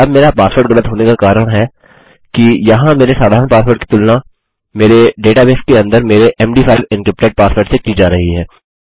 अब मेरा पासवर्ड गलत होने का कारण है कि यहाँ मेरे साधारण पासवर्ड की तुलना मेरे डेटाबेस के अंदर मेरे md5 एन्क्रिप्टेड पासवर्ड से की जा रही है